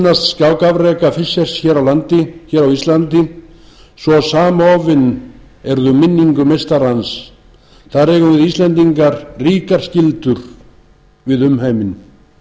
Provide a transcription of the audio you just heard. fischers hér á landi hér á íslandi svo samofin erum við minningu meistarans þar eigum við íslendingar ríkar skyldur við umheiminn